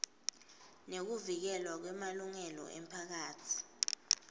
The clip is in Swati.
nekuvikelwa kwemalungelo emiphakatsi